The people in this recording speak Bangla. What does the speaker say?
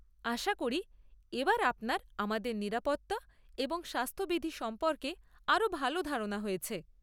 আশা করি এবার আপনার আমাদের নিরাপত্তা এবং স্বাস্থবিধি সম্পর্কে আরও ভাল ধারণা হয়েছে।